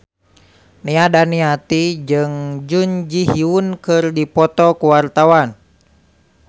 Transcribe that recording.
Nia Daniati jeung Jun Ji Hyun keur dipoto ku wartawan